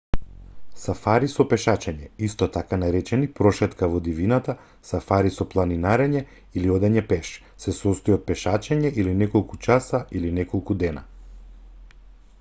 "сафари со пешачење исто така наречени "прошетка во дивината" сафари со планинарење" или одење "пеш" се состои од пешачење или неколку часа или неколку дена.